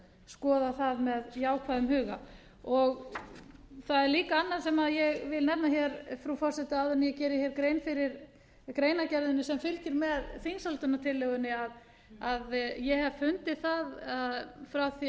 skoða það með jákvæðum huga það er líka annað sem ég vil nefna hér frú forseti áður en ég geri hér grein fyrir greinargerðinni á fylgir með þingsályktunartillögunni að ég hef fundið það frá